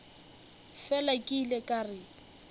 fela ke ile ka re